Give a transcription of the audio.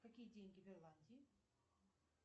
какие деньги в ирландии